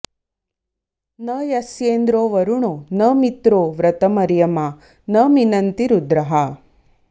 न यस्येन्द्रो॒ वरु॑णो॒ न मि॒त्रो व्र॒तम॑र्य॒मा न मि॒नन्ति॑ रु॒द्रः